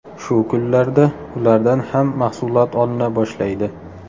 Shu kunlarda ulardan ham mahsulot olina boshlaydi.